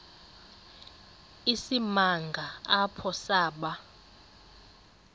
isimanga apho saba